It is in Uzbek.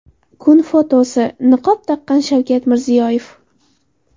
Kun fotosi: Niqob taqqan Shavkat Mirziyoyev.